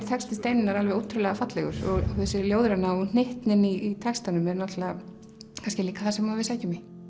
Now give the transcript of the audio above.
texti Steinunnar alveg ótrúlega fallegur og þessi ljóðræna og hnyttnin í textanum er það sem við sækjum í